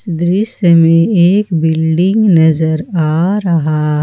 दृश्य में एक बिल्डिंग नजर आ रहा--